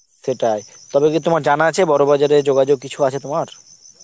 সেটাই, তবে কি তোমার জানা আছে বড়বাজার এ যোগাযোগ কিছু আছে তোমার?